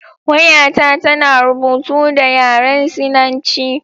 Wayata tana rubutu da yaren Sinanci.